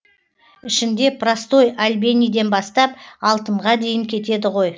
ішінде простой альбениден бастап алтынға дейін кетеді ғой